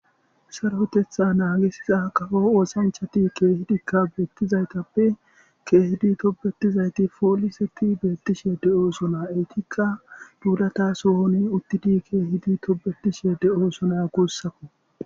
sarotetha naagisiza kafo oosanchati keehidikka beettizaytappe keehidi tobetizayti fooliseti beettishe de7o suna eytikka duulata suhoni uttidi keehidi tobetishe de7o suna guussako